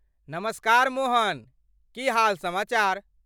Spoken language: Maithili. नमस्कार मोहन, की हाल समाचार?